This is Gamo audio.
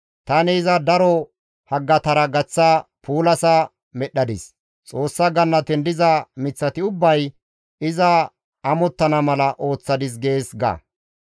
Tani iza daro haggatara gaththa puulasa medhdhadis; Xoossa gannaten diza miththati ubbay iza amottana mala ooththadis› gees ga.